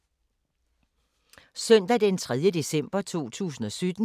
Søndag d. 3. december 2017